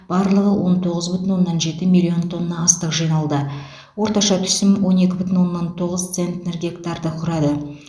барлығы он тоғыз бүтін оннан жеті миллион тонна астық жиналды орташа түсім он екі бүтін оннан тоғыз центнер гектарды құрады